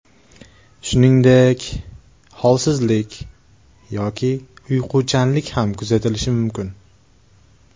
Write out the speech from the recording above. Shuningdek, holsizlik yoki uyquchanlik ham kuzatilishi mumkin.